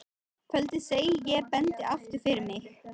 Kvöldið, segi ég og bendi aftur fyrir mig.